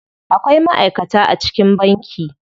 Akwai ma'aikata a cikin banki.